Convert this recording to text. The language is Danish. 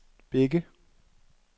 Bække